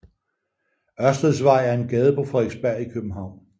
Ørsteds Vej er en gade på Frederiksberg i København